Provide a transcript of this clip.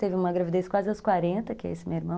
Teve uma gravidez quase às quarenta, que é esse meu irmão.